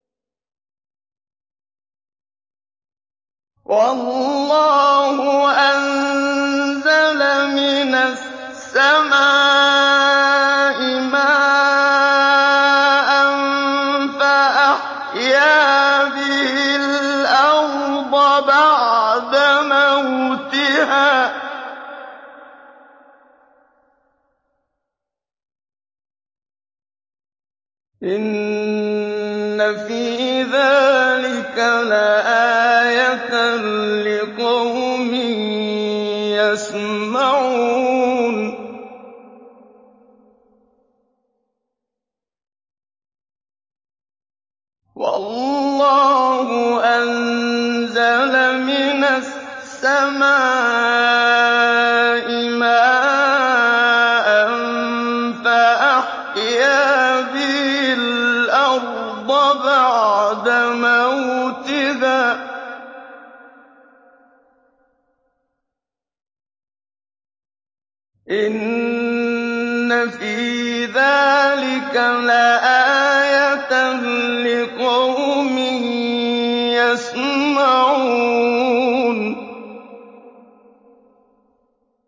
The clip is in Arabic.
وَاللَّهُ أَنزَلَ مِنَ السَّمَاءِ مَاءً فَأَحْيَا بِهِ الْأَرْضَ بَعْدَ مَوْتِهَا ۚ إِنَّ فِي ذَٰلِكَ لَآيَةً لِّقَوْمٍ يَسْمَعُونَ